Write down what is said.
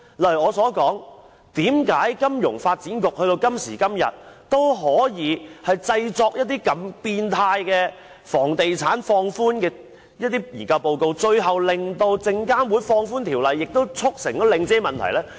例如我提出，為何金發局到了今時今日，也可以製作放寬房地產如此扭曲的研究報告，最後令證券及期貨事務監察委員會放寬條例，促成領展的問題呢？